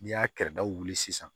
N'i y'a kɛrɛdaw wuli sisan